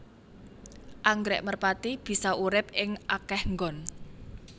Anggrèk merpati bisa urip ing akéh nggon